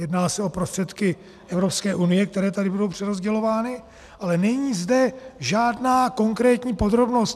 Jedná se o prostředky Evropské unie, které tady budou přerozdělovány, ale není zde žádná konkrétní podrobnost.